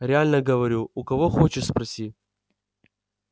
реально говорю у кого хочешь спроси